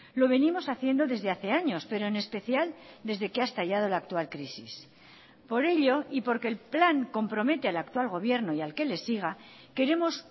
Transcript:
lo venimos haciendo desde hace años pero en especial desde que ha estallado la actual crisis por ello y porque el plan compromete al actual gobierno y al que le siga queremos